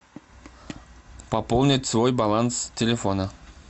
пополнить свой баланс телефона